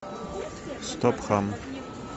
стоп хам